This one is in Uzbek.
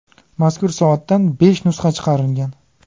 Mazkur soatdan besh nusxa chiqarilgan.